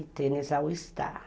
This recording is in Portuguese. E tênis ao estar.